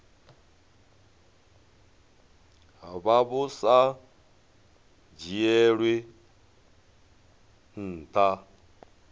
vha vhu sa dzhielwi nha